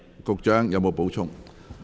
局長，你有否補充？